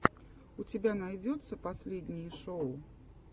у тебя найдется последние шоу